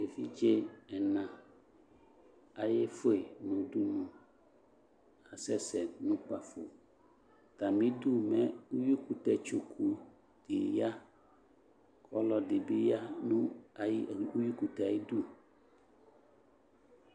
Evidze ɛna ayefue no udunu ka asɛsɛ no ukpafoAtame du mɛ uwikutɛ tsoku de ya ko ɔlɔde be ya no ayidu, uwikutɛ ayidu